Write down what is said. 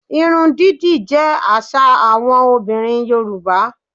Irun dídì jẹ́ àṣà àwọn obìnrin Yorùbá